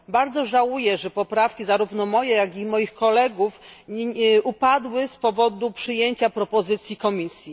Bardzo żałuję, że poprawki, zarówno moje, jak i moich kolegów, upadły z powodu przyjęcia propozycji Komisji.